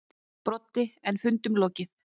Broddi: En fundinum lokið.